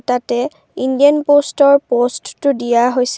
তাতে ইণ্ডিয়ান প'ষ্টতৰ পষ্টো দিয়া হৈছে।